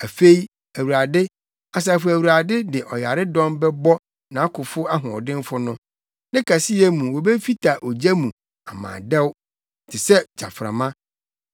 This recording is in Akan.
Afei Awurade, Asafo Awurade, de ɔyaredɔm bɛbɔ nʼakofo ahoɔdenfo no; ne kɛseyɛ mu wobefita ogya mu ama adɛw te sɛ gyaframa.